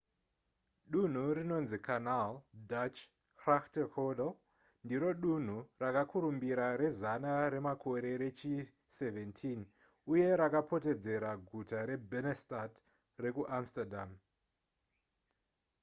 dunhu rinonzi canal dutch: grachtengordel ndiro dunhu rakakurumbira rezana remakore rechi17 uye rakapoteredza guta rebennedstad rekuamsterdam